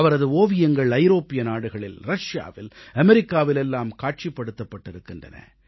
அவரது ஓவியங்கள் ஐரோப்பிய நாடுகளில் ரஷியாவில் அமெரிக்காவில் எல்லாம் காட்சிப்படுத்தப்பட்டிருக்கின்றன